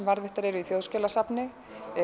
varðveittar í Þjóðskjalasafni